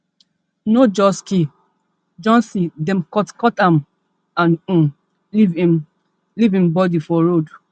no just kill johnson dem cutcut am and um leave im leave im body for road